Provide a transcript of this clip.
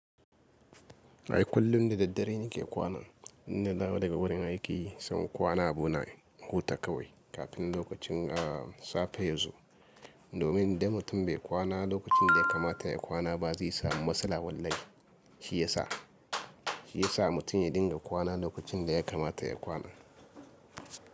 Ai kullum da daddare ne ke kwana. Inda dawo daga wurin aiki, sai kwana a bu na huta kawai kafin lokacin a safe ya zo. Domin da mutum bai kwana lokacin da ya kamata ya kwana ba zai samu matsala. Wallai shi ya sa, shi ya sa mutum ya dinga kwana lokacin da ya kamata ya kwana.